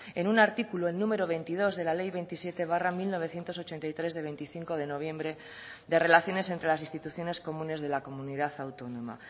en un artículo el número veintidós de la ley veintisiete barra mil novecientos ochenta y tres de veinticinco de noviembre de relaciones entre las instituciones comunes de la comunidad autónoma